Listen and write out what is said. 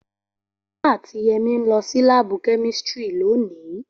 Ola ati Yemi n lo si laabu kemistri loni.